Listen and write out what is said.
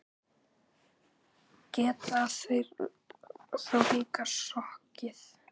Geta þeir þá líka sokkið.